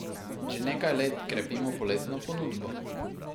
Že nekaj let krepimo poletno ponudbo.